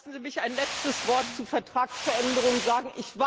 haben. Lassen Sie mich ein letztes Wort zu einer Vertragsänderung